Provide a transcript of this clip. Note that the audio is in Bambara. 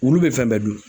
Wulu bɛ fɛn bɛɛ dun